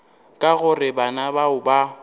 ka gore bana bao ba